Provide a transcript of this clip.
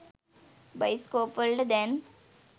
bioscope වලට දැන්